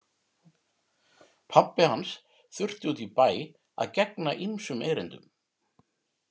Pabbi hans þurfti út í bæ að gegna ýmsum erindum.